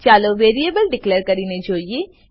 ચાલો variable declare કરીને જોઈએ